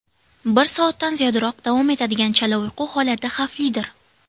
Bir soatdan ziyodroq davom etadigan chala uyqu holati xavflidir.